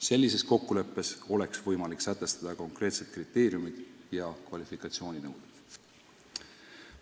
Sellises kokkuleppes oleks võimalik sätestada konkreetsed kriteeriumid ja kvalifikatsiooninõuded.